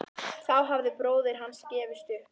Þá hafði bróðir hans gefist upp.